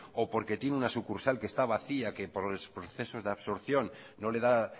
o porque tiene una sucursal que está vacía que por procesos de absorción no le da